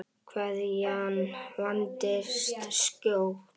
Kveðjan vandist skjótt.